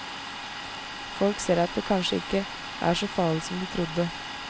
Folk ser at det kanskje ikke er så farlig som de trodde.